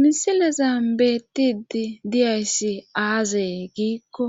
misileza beettidi diyayssi aazae giikko